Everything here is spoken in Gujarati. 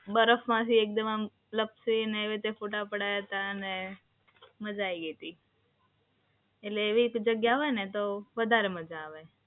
બરફમાંથી એકદમ લપસીને એમ ફોટા પડાયા હતા અને મજા આઈ ગઈ હતી. એટલે એવી જગ્યા હોય ને તો વધારે મજા આવે.